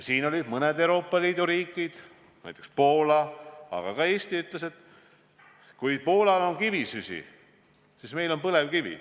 Siin tulid esile mõned Euroopa Liidu riigid, näiteks Poola, aga ka Eesti, kes ütles, et Poolal on kivisüsi, aga meil on põlevkivi.